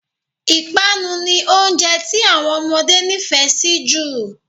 Ìpanu ni oúnjẹ tí àwọn ọmọdé nifẹ si jù